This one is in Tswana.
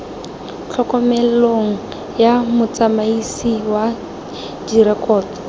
tlhokomelong ya motsamaisi wa direkoto